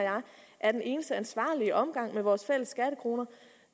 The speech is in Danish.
at den eneste ansvarlig omgang med vores fælles skattekroner